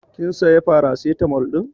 Kin saya paracetamol din?